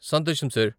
సంతోషం సార్.